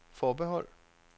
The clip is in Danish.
forbehold